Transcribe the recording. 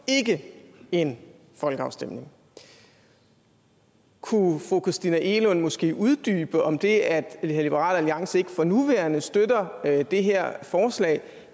ikke en folkeafstemning kunne fru christina egelund måske uddybe om det at liberal alliance ikke for nuværende støtter det her forslag